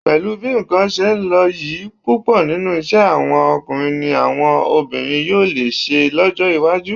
Pẹ̀lú bí nǹkan ṣe ń lọ yìí, púpọ̀ nínú iṣẹ́ àwọn ọkùnrin ni àwọn obìnrin yóò lè ṣe lọ́jọ́ iwájú